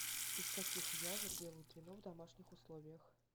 из каких ягод делают вино в домашних условиях